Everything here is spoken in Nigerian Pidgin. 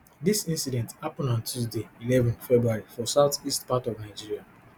dis incident happun on tuesday eleven february for south east part of nigeria